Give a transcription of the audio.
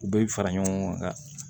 U bɛ fara ɲɔgɔn kan